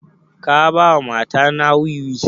Ka ba wa mata na wiwi?